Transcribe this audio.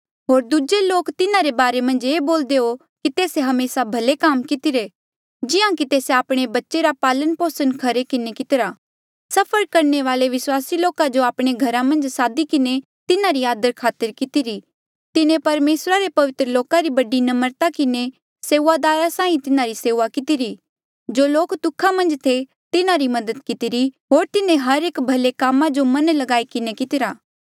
होर दूजे लोक तिन्हारे बारे मन्झ ये बोलदे हो कि तेस्से हमेसा भले काम कितिरे जिहां कि तेस्से आपणे बच्चे रा पालन पोसण खरे किन्हें कितिरा सफर करणे वाले विस्वासी लोका जो आपणे घरा मन्झ सादी किन्हें तिन्हारी आदरखातर कितिरा तिन्हें परमेसरा रे पवित्र लोका री बड़ी नम्रता किन्हें सेऊआदारा साहीं तिन्हारी सेऊआ कितिरी जो लोक दुखा मन्झ थे तिन्हारी मदद कितिरी होर तिन्हें हर एक भले कामा जो मन ल्गाईरा किन्हें कितिरा